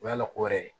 O y'a la ko wɛrɛ ye